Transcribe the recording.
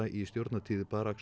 í stjórnartíð